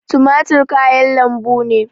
Tumatir kayan lambu ne